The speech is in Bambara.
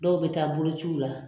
Dɔw bɛ taa bolociw la.